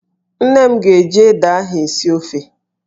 Nne m ga-eji ede ahụ esi ofe